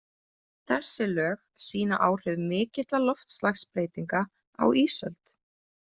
Þessi lög sýna áhrif mikilla loftslagsbreytinga á ísöld.